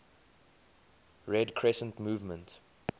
red crescent movement